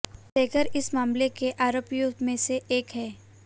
सेंगर इस मामले के आरोपियों में से एक है